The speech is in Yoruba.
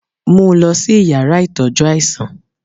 mú lọ si ìyára itọjú aisan!